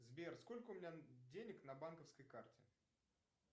сбер сколько у меня денег на банковской карте